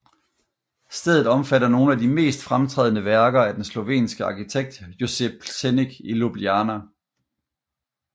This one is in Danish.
Stedet omfatter nogle af de mest fremtrædende værker af den slovenske arkitekt Jože Plečnik i Ljubljana